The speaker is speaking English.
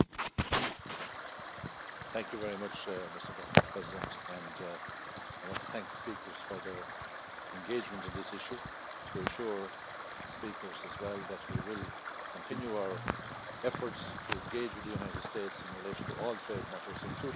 Mr President, I want to thank the speakers for their engagement on this issue to assure the speakers as well that we will continue our efforts to engage with the United States in relation to all trade matters, including the issues before the House this evening on the digital tax